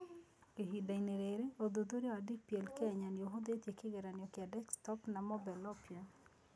Ihinda-inĩ rĩrĩ, ũthuthuria wa DPL Kenya nĩ ũhutĩtie kĩgeranio kĩa desktop na mobile (Oppia).